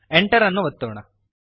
Enter ಅನ್ನು ಒತ್ತೋಣ